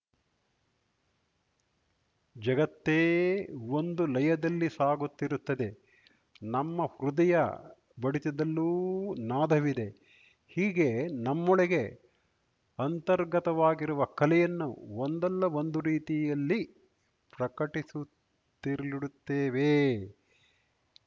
ಜಗತ್ತೇ ಒಂದು ಲಯದಲ್ಲಿ ಸಾಗುತ್ತಿರುತ್ತದೆ ನಮ್ಮ ಹೃದಯ ಬಡಿತದಲ್ಲೂ ನಾದವಿದೆ ಹೀಗೆ ನಮ್ಮೊಳಗೆ ಅಂತರ್ಗತವಾಗಿರುವ ಕಲೆಯನ್ನು ಒಂದಲ್ಲ ಒಂದು ರೀತಿಯಲ್ಲಿ ಪ್ರಕಟಿಸುತ್ಲಿರುತ್ತೇವೆ